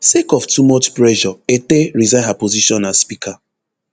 sake of too much pressure etteh resign her position as speaker